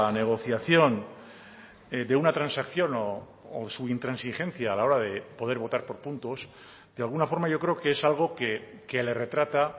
negociación de una transacción o su intransigencia a la hora de poder votar por puntos de alguna forma yo creo que es algo que le retrata